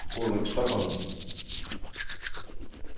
Ulrik Stokholm